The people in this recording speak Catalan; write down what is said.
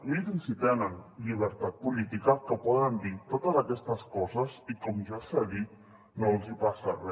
mirin si tenen llibertat política que poden dir totes aquestes coses i com ja s’ha dit no els hi passa re